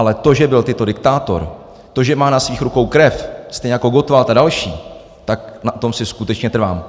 Ale to, že byl Tito diktátor, to, že má na svých rukou krev, stejně jako Gottwald a další, tak na tom si skutečně trvám.